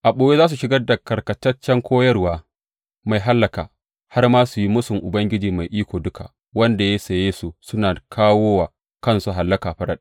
A ɓoye za su shigar da karkataccen koyarwa mai hallaka, har ma su yi mūsun Ubangiji mai iko duka wanda ya saye su suna kawo wa kansu hallaka farat ɗaya.